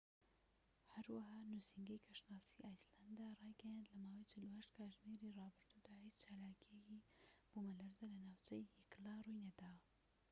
هەروەها نوسینگەی کەشناسی ئایسلەندارایگەیاند کە لە ماوەی 48 کاتژمێری ڕابردوودا هیچ چالاکییەکی بوومەلەرزە لە ناوچەی هیکلا ڕووینەداوە